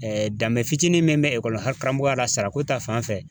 danbe fitinin min bɛ ekɔlikaramɔgɔya la sarako ta fan fɛ